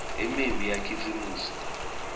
imiumbi yakhisimusi